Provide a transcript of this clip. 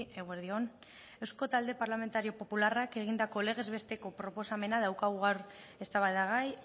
eguerdi on eusko talde parlamentario popularrak egindako legez besteko proposamena daukagu gaur eztabaidagai